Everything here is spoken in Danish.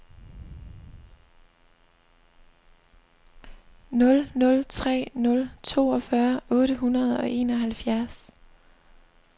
nul nul tre nul toogfyrre otte hundrede og enoghalvfjerds